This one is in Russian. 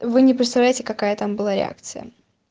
вы не представляете какая там была реакция